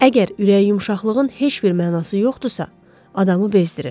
Əgər ürək yumşaqlığın heç bir mənası yoxdursa, adamı bezdirir.